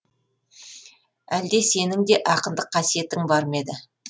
әлде сенің де ақындық қасиетің бар ма еді